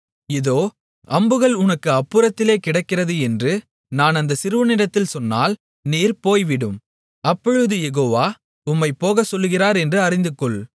இதோ அம்புகள் உனக்கு அப்புறத்திலே கிடக்கிறது என்று நான் அந்த சிறுவனிடத்தில் சொன்னால் நீர் போய்விடும் அப்பொழுது யெகோவா உம்மைப் போகச்சொல்லுகிறார் என்று அறிந்துகொள்